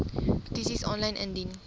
petisies aanlyn indien